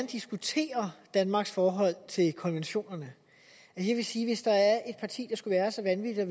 diskutere danmarks forhold til konventionerne jeg vil sige at hvis der er et parti skulle være så vanvittigt at